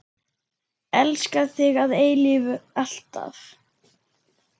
Elska þig að eilífu, alltaf.